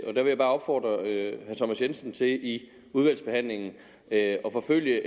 der vil jeg bare opfordre herre thomas jensen til i udvalgsbehandlingen at forfølge